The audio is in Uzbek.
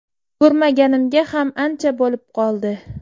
Ko‘rmaganimga ham ancha bo‘lib qoldi.